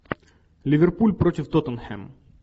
ливерпуль против тоттенхэм